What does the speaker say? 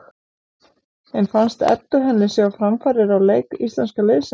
En fannst Eddu henni sjá framfarir á leik íslenska liðsins?